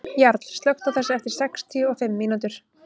Jarl, slökktu á þessu eftir sextíu og fimm mínútur.